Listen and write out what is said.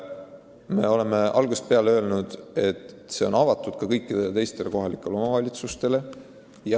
Me oleme algusest peale öelnud, et see võimalus on avatud ka kõikidele teistele omavalitsustele.